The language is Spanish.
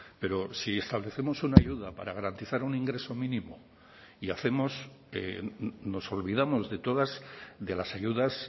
pero si establecemos una ayuda para garantizar un ingreso mínimo y hacemos nos olvidamos de todas de las ayudas